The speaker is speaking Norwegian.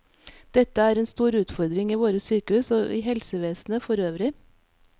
Dette er den store utfordring i våre sykehus og i helsevesenet for øvrig.